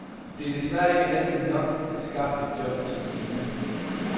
Det er desværre ikke altid nok at skaffe et job til den unge.